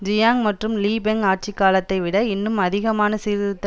Jiang மற்றும் Li Peng ஆட்சி காலத்தைவிட இன்னும் அதிகமான சீர்திருத்த